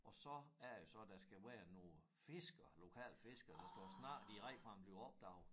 Og så er det jo så der skal være nogle fiskere lokale fiskere der står og snakker direkte før han blev opdaget